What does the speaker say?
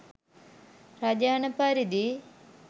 රජ අණ පරිදි